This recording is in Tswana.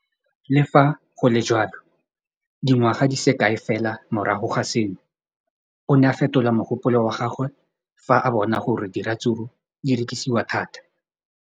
Le fa go le jalo, dingwaga di se kae fela morago ga seno, o ne a fetola mogopolo wa gagwe fa a bona gore diratsuru di rekisiwa thata.